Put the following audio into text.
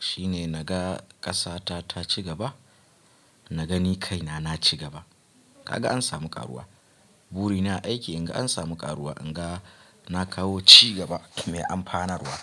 shine naga ƙasa ta, ta cigaba, na ga ni kaina na ci gaba. Kaga an samu ƙaruwa. Burina aiki in ga an samu ƙaruwa, in ga na kawo ci gaba mai amfanarwa.